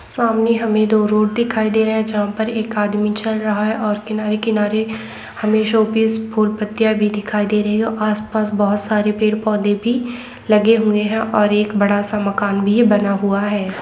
सामने हमें दो रोड दिखाई दे रहे हैं जहाँ पर एक आदमी चल रहा है और किनारे-किनारे हमे शो पीसफुल पत्तियां भी दिखाई दे रही है और आस-पास बहुत सारे पेड़-पौधे भी लगे हुए हैं और सामने एक बड़ा सा मकान भी बना हुआ है।